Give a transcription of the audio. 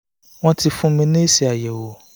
wọ́n ti fún mi ní èsì ayo